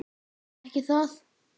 Ekki það?